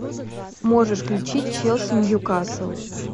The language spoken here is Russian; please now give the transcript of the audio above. можешь включить челси ньюкасл